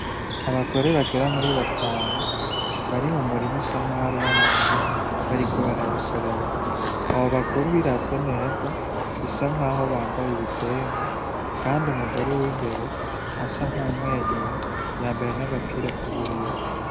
Abagore bagera muri batanu, bari mu murima usa nkaho ari uw'amashu, bariko barayasoroma. Abo bagore ubiravye neza bisa nkaho bambaye ibitenge, kandi umugore w'imbere asa nk'uwumwenyuye, yambaye n'agapira k'ubururu.